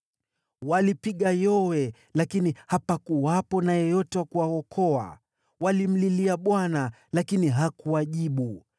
Walipiga yowe, lakini hapakuwepo na yeyote wa kuwaokoa; walimlilia Bwana , lakini hakuwajibu.